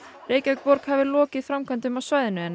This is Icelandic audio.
Reykjavíkurborg hafi lokið framkvæmdum á svæðinu en